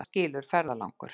Það skilur ferðalangur.